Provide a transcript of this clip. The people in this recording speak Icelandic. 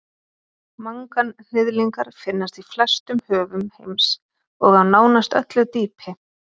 Manganhnyðlingar finnast í flestum höfum heims og á nánast öllu dýpi.